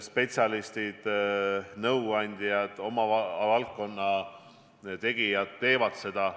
Spetsialistid, nõuandjad, oma valdkonna tegijad teevad seda.